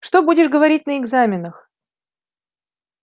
что будет говорить на экзаменах